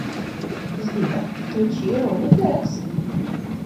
сбер включи рони флекс